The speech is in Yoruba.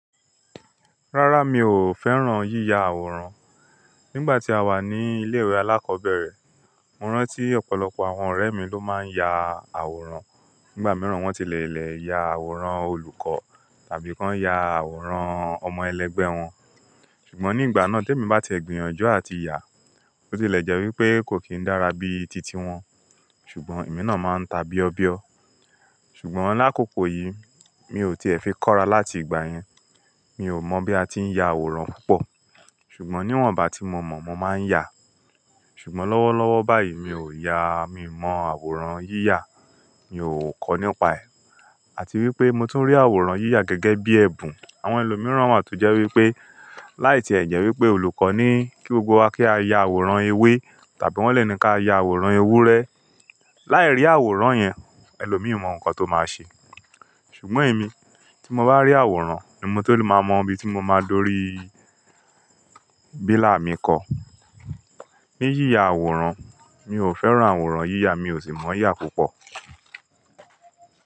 Rárá, mi ò fẹ́ràn yíya àwòrán. Nígbà tí a wà ní ilé ìwé alákọ̀ọ́bẹ̀rẹ̀, mo rántí ọ̀pọ̀lọpọ̀ àwọn ọ̀rẹ́ mi ló máa ń ya àwòrán. Nígbà mìíràn, wọ́n ti lè lè ya àwòrán olùkọ́ tàbí kan ya àwòrán ọmọ ẹlẹgbẹ́ wọn. Ṣùgbọ́n nígbà náà tí èmi bá ti gbìyànjú àti yà, bó ti lè jẹ́ wípé kò kí ń dára bí i titi wọn. Ṣùgbọ́n èmi náà máa ń ta bí ọ bí ọ. Ṣùgbọ́n lakoko yìí, mi ò tiẹ̀ fi kọ́ra láti ìgbà yẹn. Mi ò mọ̀ bí a ti ń ya àwòrán púpọ̀. Ṣùgbọ́n níwọ̀nba tí mo mọ̀, mo máa ń yà. Ṣùgbọ́n lọ́wọ́lọ́wọ́ báyìí, mi ò yà. Mi mọ àwòrán yíya, mi ò kọ nípa ẹ̀. Àti wípé mo tún rí àwòrán yíya gẹ́gẹ́ bí ẹ̀bùn àwọn ẹlòmíràn wà tó jẹ́ wípé, láì tí ẹ̀ jẹ́ wípé olùkọ́ ní kí gbogbo wa kí á ya àwòrán ewé tàbí wọ́n lè ní ká ya àwòrán ewúrẹ́. Láì rí àwòrán yẹn, ẹlòmíì mọ nǹkan tó máa ṣe. Ṣùgbọ́n èmi, tí mo bá rí àwòrán, ni mo tó ma mo ibi tí mo máa dórí bílà mi kọ́. Ni yíya àwòrán, mi ò fẹ́ràn àwòrán yíya, mi ò sì mọ̀ yíya púpọ̀.